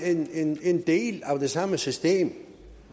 en del af det samme system